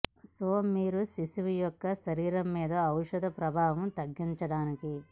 so మీరు శిశువు యొక్క శరీరం మీద ఔషధ ప్రభావం తగ్గించడానికి